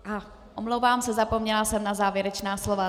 Aha, omlouvám se, zapomněla jsem na závěrečná slova.